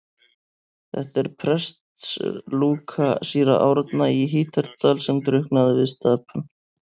Þetta er prestslúka síra Árna í Hítardal sem drukknaði við Stapann.